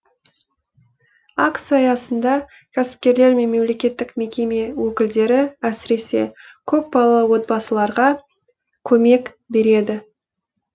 акция аясында кәсіпкерлер мен мемлекеттік мекеме өкілдері әсіресе көпбалалы отбасыларға көмек береді